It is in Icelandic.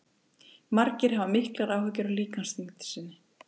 Margir hafa miklar áhyggjur af líkamsþyngd sinni.